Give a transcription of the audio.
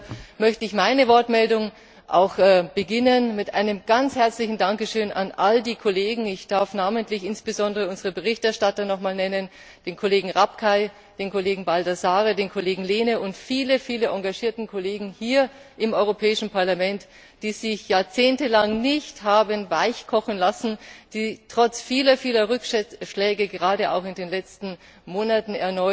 und deshalb möchte ich meine Wortmeldung auch mit einem ganz herzlichen Dankeschön an all die Kollegen beginnen ich darf namentlich insbesondere unsere Berichterstatter noch einmal nennen, den Kollegen Rapkay, den Kollegen Baldassarre, den Kollegen Lehne und viele, viele engagierte Kollegen hier im Europäischen Parlament die sich jahrzehntelang nicht haben weichkochen lassen, die trotz vieler, vieler Rückschläge, gerade auch wieder in den letzten Monaten,